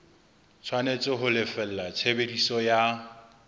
tshwanetse ho lefella tshebediso ya